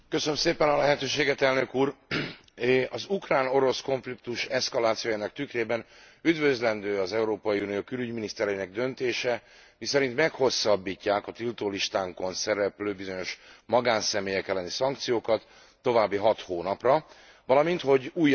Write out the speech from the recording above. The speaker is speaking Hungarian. Az ukrán orosz konfliktus eszkalációjának tükrében üdvözlendő az Európai Unió külügyminisztereinek döntése, miszerint meghosszabbítják a tiltólistánkon szereplő bizonyos magánszemélyek elleni szankciókat további hat hónapra, valamint, hogy újabb gazdasági szankciókat kívánnak bevezetni.